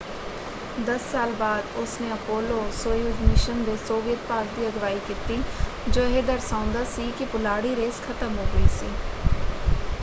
ਦਸ ਸਾਲ ਬਾਅਦ ਉਸਨੇ ਅਪੋਲੋ-ਸੋਯੁਜ਼ ਮਿਸ਼ਨ ਦੇ ਸੋਵੀਅਤ ਭਾਗ ਦੀ ਅਗਵਾਈ ਕੀਤੀ ਜੋ ਇਹ ਦਰਸਾਉਂਦਾ ਸੀ ਕਿ ਪੁਲਾੜੀ ਰੇਸ ਖ਼ਤਮ ਹੋ ਗਈ ਸੀ।